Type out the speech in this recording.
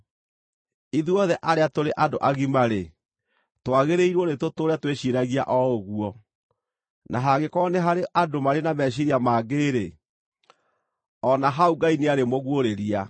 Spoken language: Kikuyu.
Ithuothe arĩa tũrĩ andũ agima-rĩ, twagĩrĩirwo nĩtũtũũre twĩciiragia o ũguo. Na hangĩkorwo nĩ harĩ andũ marĩ na meciiria mangĩ-rĩ, o na hau Ngai nĩarĩmũguũrĩria.